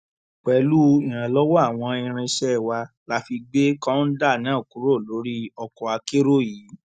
pẹlú ìrànlọwọ àwọn irinṣẹ wa la fi gbé kọńdà náà kúrò lórí ọkọ akérò yìí